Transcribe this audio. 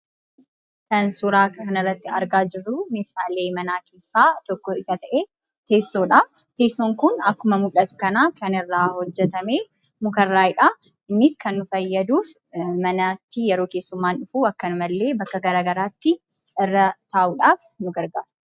Kan suuraa kana irratti argaa jirru meeshaalee manaa keessaa tokko kan ta'e Teessoodha. Teessoon kun akkuma mul'atu kana kan irraa hojjetame muka irraayidha. Innis kan nu fayyadu manatti yeroo keessummaan dhufu akkanumallee bakka gara garaatti irra taa'uudhaaf nu gargaara.